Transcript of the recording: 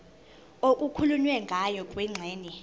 okukhulunywe ngayo kwingxenye